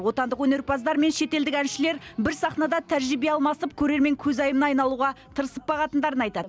отандық өнерпаздар мен шетелдік әншілер бір сахнада тәжірибе алмасып көрермен көзайымына айналуға тырысып бағатындарын айтады